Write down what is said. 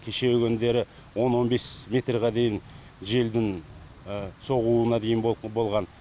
кешегі күндері он он бес метрға дейін желдің соғуына дейін болған